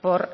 por